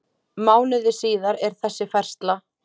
Mánuði síðar er þessi færsla